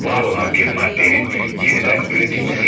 Var olan bir maddənin yenidən üretilmesiydi.